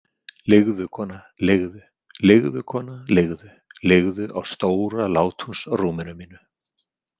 Liggðu, kona, liggðu Liggðu, kona, liggðu- liggðu á stóra látúnsrúminu mínu.